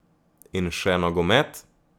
In še nogomet.